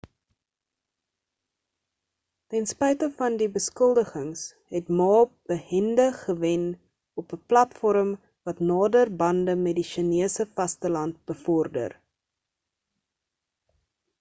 ten spyte van beskuldigings het ma behendig gewen op 'n platform wat nader bande met die sjinese vasteland bevorder